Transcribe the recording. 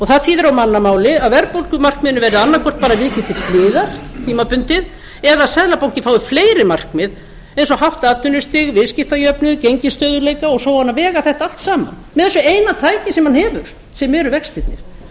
það þýðir á mannamáli að verðbólgumarkmiðinu verði annaðhvort bara vikið til hliðar tímabundið eða að seðlabankinn fái fleiri markmið eins og hátt atvinnustig viðskiptajöfnuð gengisstöðugleika og svo á hann að vega þetta allt saman með þessu eina tæki sem hann hefur sem eru vextirnir